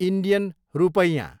Indian रूपैयाँ